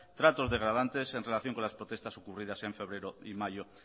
tratos degradantes en relación con las propuestas ocurridas en febrero y mayo